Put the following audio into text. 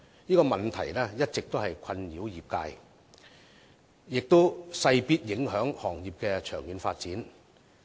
這個問題一直困擾業界，亦勢必影響行業的長遠發展。